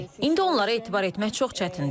İndi onlara etibar etmək çox çətindir.